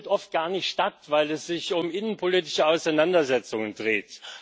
es findet oft gar nicht statt, weil es sich um innenpolitische Auseinandersetzungen dreht.